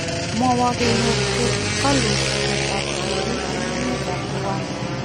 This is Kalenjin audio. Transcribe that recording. Mawuu kenyor toguloisiek ab tibiik en emet ab Rwanda.